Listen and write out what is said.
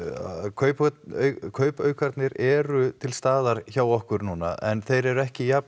kaupaukarnir kaupaukarnir eru til staðar hjá okkur núna en þeir eru ekki jafn